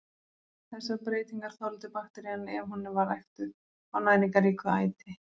Þessar breytingar þoldi bakterían ef hún var ræktuð á næringarríku æti.